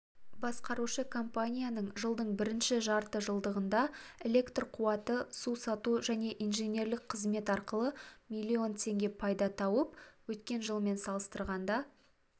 басқарушы компанияның жылдың бірінші жарты жылдығындағы электр қуаты су сату және инженерлік қызмет арқылы млн теңге пайда тауып өткен жылмен салыстырғанда